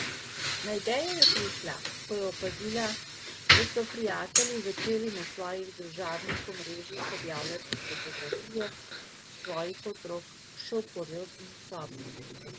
Na idejo je prišla, ko je opazila, da so prijatelji začeli na svojih družabnih omrežjih objavljati fotografije svojih otrok še v porodni sobi.